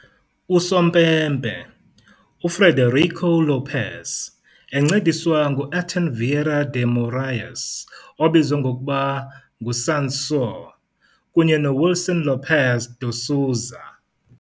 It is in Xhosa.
Usompempe, UFrederico Lopes, encediswa nguAirton Vieira de Morais, obizwa ngokuba ngu "Sansão", kunye noWilson Lopes de Souza.